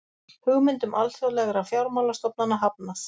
Hugmyndum alþjóðlegra fjármálastofnana hafnað